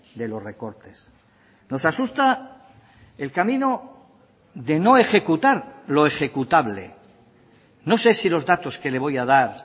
de los recortes nos asusta el camino de no ejecutar lo ejecutable no sé si los datos que le voy a dar